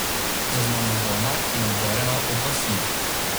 Zaznamovana in obdarjena od vasi.